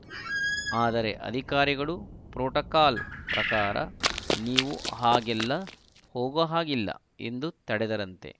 ಆದರೆ ಅಧಿಕಾರಿಗಳು ಪ್ರೋಟೋಕಾಲ ಪ್ರಕಾರ ನೀವು ಹಾಗೆಲ್ಲ ಹೋಗೋಹಾಗಿಲ್ಲ ಎಂದು ತಡೆದರಂತೆ